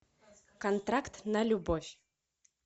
контракт на любовь